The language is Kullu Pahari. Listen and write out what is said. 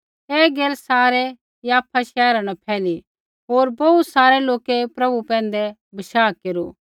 ऐ गैल सारै याफा शैहरा न फैली होर बोहू सारै लोकै प्रभु पैंधै विश्वास केरू